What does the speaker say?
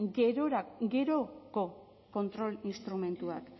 geroko kontrol instrumentuak